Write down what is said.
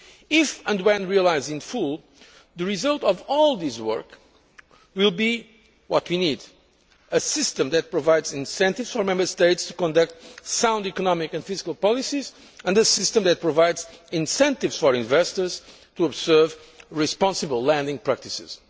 If and when realised in full, the result of all this work will be what we need a system that provides incentives for Member States to conduct sound economic and fiscal policies, and a system that provides incentives for investors to observe responsible lending practices.